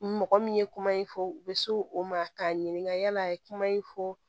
Mɔgɔ min ye kuma in fɔ u bɛ s'o o ma k'a ɲininka yala a ye kuma in fɔ